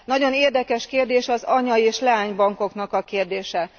Nagyon érdekes kérdés az anya és leánybankoknak a kérdése.